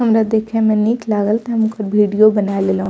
हमरा देखे में निक लागल ते हम ओकर वीडियो बना लेलो।